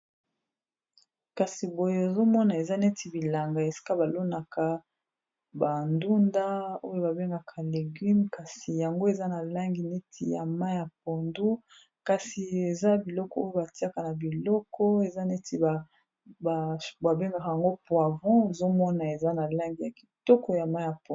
kasi boye ozomona eza neti bilanga esika balonaka bandunda oyo babengaka legume kasi yango eza na langi neti ya mai ya pondo kasi eza biloko oyo batiaka na biloko eza neti babengaka yango po avon ezomona eza na lange ya kitoko ya mai ya pondo